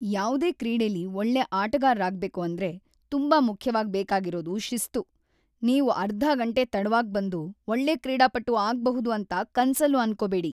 ಯಾವ್ದೇ ಕ್ರೀಡೆಲಿ ಒಳ್ಳೆ ಆಟಗಾರ್ರಾಗ್ಬೇಕು ಅಂದ್ರೆ ತುಂಬಾ ಮುಖ್ಯವಾಗ್‌ ಬೇಕಾಗಿರೋದು ಶಿಸ್ತು. ನೀವು ಅರ್ಧ ಗಂಟೆ ತಡವಾಗ್ ಬಂದು ಒಳ್ಳೆ ಕ್ರೀಡಾಪಟು ಆಗ್ಬಹುದು ಅಂತ ಕನ್ಸಲ್ಲೂ ಅನ್ಕೋಬೇಡಿ.